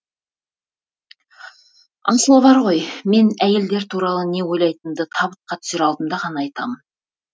асылы бар ғой мен әйелдер туралы не ойлайтынымды табытқа түсер алдымда ғана айтамын